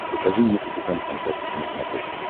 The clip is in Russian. покажи мне капитан фантастика на смотрешке